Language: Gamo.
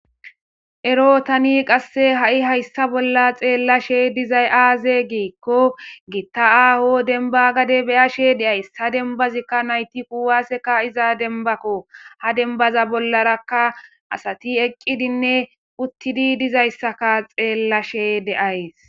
Ero tani qasse ha'i hayssa bolla xeellashe dizay aaze giikko giitta aaho denba gade beyashe deays ha denbazikka nayti kuwaaseka iza denbakko ha denbaza bollarakka asati eqqidinne uttidi dizayssaka xeellashe deays.